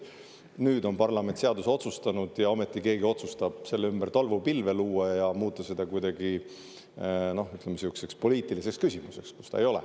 Nüüd on parlament seaduse kohta otsuse teinud, aga ometi keegi otsustab selle ümber tolmupilve luua ja muuta seda kuidagi poliitiliseks küsimuseks.